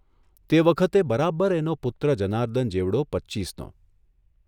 તે વખતે બરાબર એનો પુત્ર જર્નાદન જેવડો પચ્ચીસનો.